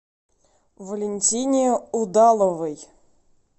валентине удаловой